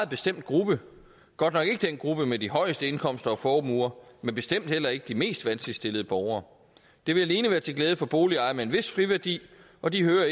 bestemt gruppe godt nok ikke den gruppe med de højeste indkomster og formuer men bestemt heller ikke de mest vanskeligt stillede borgere det vil alene være til glæde for boligejere med en vis friværdi og de hører